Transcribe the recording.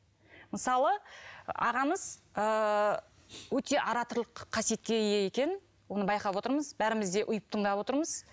мысалы ағамыз ыыы өте ораторлық қасиетке ие екен оны байқап отырмыз бәріміз де ұйып тыңдап отырмыз